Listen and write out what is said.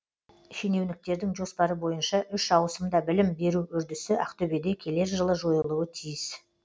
шенеуніктердің жоспары бойынша үш ауысымда білім беру үрдісі ақтөбеде келер жылы жойылуы тиіс